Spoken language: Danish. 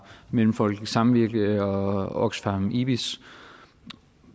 mellemfolkeligt samvirke og oxfam ibis